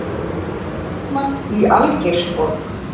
Mótmælt í Algeirsborg